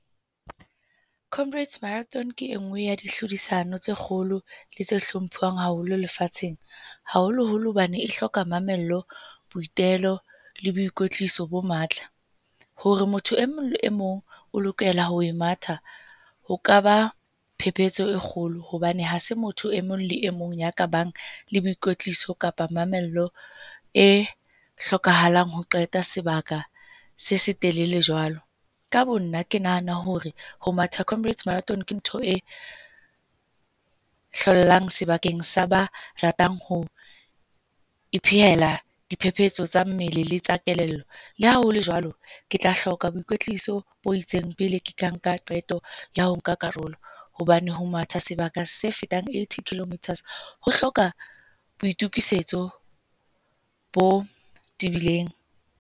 Comrades Marathon ke e nngwe ya ditlhodisano tse kgolo le tse hlomphiwang haholo lefatsheng, haholoholo hobane e hloka mamello, boitelo le boikwetliso bo matla. Hore motho e mong e mong o lokela ho e matha ho ka ba phepetso e kgolo hobane ha se motho e mong le mong ya ka bang le boikwetliso kapa mamello e hlokahalang ho qeta sebaka se setelele jwalo. Ka bo nna, ke nahana hore ho matha Comrades Marathon ke ntho e hlollang sebakeng sa ba ratang ho iphehela diphephetso tsa mmele le tsa kelello. Le ha ho le jwalo ke tla hloka boikwetliso bo itseng pele ke ka nka qeto ya ho nka karolo, hobane ho matha sebaka se fetang eighty kilometers ho hloka boitokisetso bo tibileng.